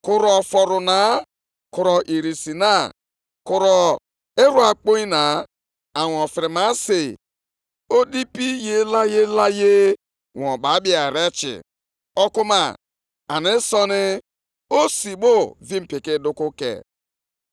Eji m ọrịa na-eripịa ihe ubi, na ọmụma ebu, na mkpụrụ mmiri igwe bibie ọrụ aka unu niile; ma unu alọghachikwuteghị m,’ ọ bụ ihe Onyenwe anyị kwupụtara.